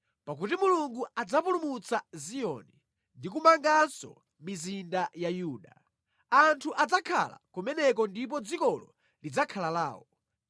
pakuti Mulungu adzapulumutsa Ziyoni ndi kumanganso mizinda ya Yuda, anthu adzakhala kumeneko ndipo dzikolo lidzakhala lawo;